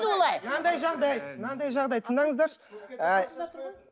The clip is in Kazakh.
мынандай жағдай мынандай жағдай тыңдаңыздаршы ы